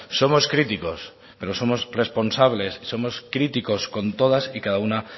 somos críticos pero somos responsables somos críticos con todas y cada una